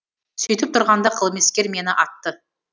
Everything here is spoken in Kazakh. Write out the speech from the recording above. сөйтіп тұрғанда қылмыскер мені атты